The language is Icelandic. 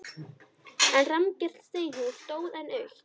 En rammgert steinhús stóð enn autt.